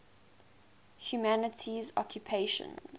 humanities occupations